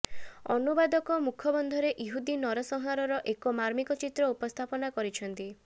ଅନୁବାଦକ ମୁଖବନ୍ଧରେ ଇହୁଦୀ ନରସଂହାରର ଏକ ମାର୍ମିକ ଚିତ୍ର ଉପସ୍ଥାପିତ କରିଛନ୍ତି